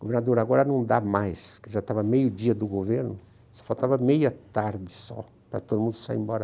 Governador, agora não dá mais, porque já estava meio dia do governo, só faltava meia tarde só para todo mundo sair embora.